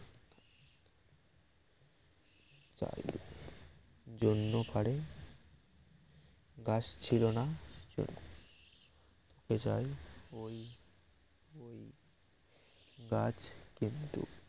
জন্য পারে গাছ ছিল না গাছ কিন্তু